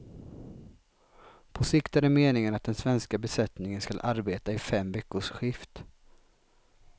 På sikt är det meningen att den svenska besättningen ska arbeta i fem veckors skift.